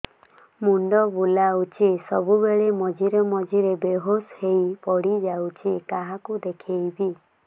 ମୁଣ୍ଡ ବୁଲାଉଛି ସବୁବେଳେ ମଝିରେ ମଝିରେ ବେହୋସ ହେଇ ପଡିଯାଉଛି କାହାକୁ ଦେଖେଇବି